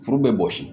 Furu bɛ bɔsi